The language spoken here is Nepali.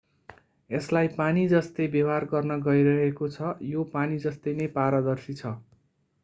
यसलाई पानी जस्तै व्यवहार गर्न गइरहेको छ यो पानी जस्तै नै पारदर्शी छ